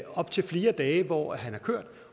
op til flere dage hvor han har kørt